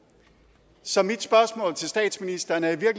så mit spørgsmål til statsministeren er i